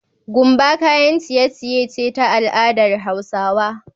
Gumba kayan ciy ciye ce ta al'adar hausawa